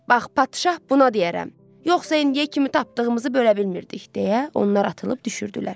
Bax, padşah buna deyərəm, yoxsa indiyə kimi tapdığımızı bölə bilmirdik deyə onlar atılıb düşürdülər.